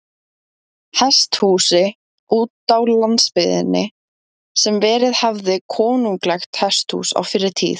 Hesthúsi útá landsbyggðinni, sem verið hafði konunglegt hesthús á fyrri tíð.